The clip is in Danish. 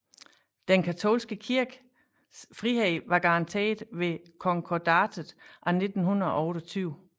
Den katolske kirkes frihed var garanteret ved Konkordatet af 1928